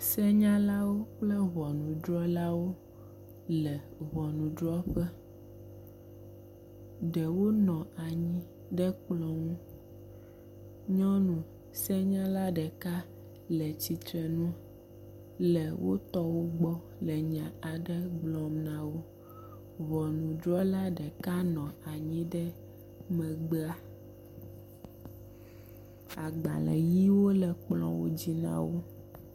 Senyalawo kple ŋɔnudrɔlawole ŋɔnudrɔƒe. Ɖewo nɔ anyi ɖe kplɔ nu. nyɔnu senyala ɖekale tsitrenu le wotɔwo gbɔ le nya aɖe gbɔm na wo. Ŋɔnudrɔla ɖeka nɔ anyi ɖe megbea. Agbaleʋiwo le kplɔwo dzi na wo.